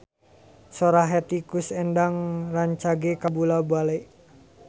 Sora Hetty Koes Endang rancage kabula-bale